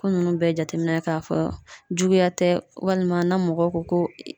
Ko nunnu bɛɛ jateminɛ k'a fɔ juguya tɛ, walima na mɔgɔw ko ko